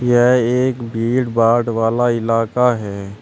यह एक भीड़ भाड़ वाला इलाका है।